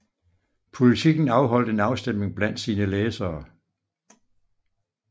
Politiken afholdt en afstemning blandt sine læsere